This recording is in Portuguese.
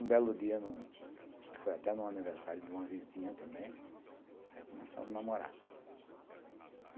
Um belo dia, acho que foi até no aniversário de uma vizinha também, aí eu começamos a namorar.